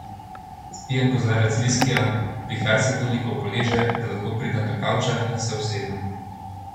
Spijem kozarec viskija, vihar se toliko poleže, da lahko pridem do kavča in se usedem.